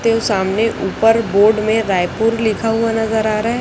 के सामने ऊपर बोर्ड में रायपुर लिखा हुआ नजर आ रहा--